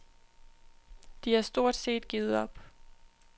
De har stort set givet op